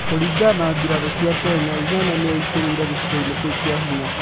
Kũringana na mbirarũ cia Kenya, Uganda nĩyo ĩingĩrire gĩcigoinĩ kĩu kia hinya.